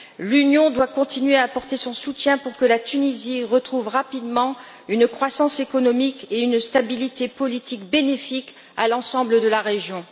L'Union doit continuer à apporter son soutien pour que la Tunisie retrouve rapidement une croissance économique et une stabilité politique bénéfiques à l'ensemble de la région.